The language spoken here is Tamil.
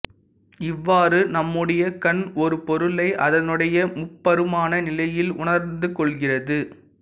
இவ்வாறு நம்முடைய கண் ஒரு பொருளை அதனுடைய முப்பருமான நிலையில் உணர்ந்துகொள்கிறது